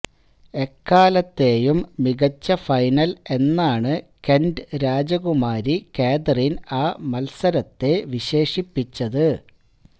എക്കാലത്തെയും മികച്ച ഫൈനല് എന്നാണ് കെന്റ് രാജകുമാരി കാതറീന് ആ മത്സരത്തെ വിശേഷിപ്പിച്ചത്